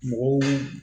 Mɔgɔw